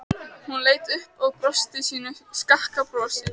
Hún leit upp og brosti sínu skakka brosi.